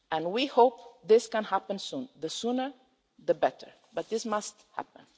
We hope this can happen soon the sooner, the better but it must happen.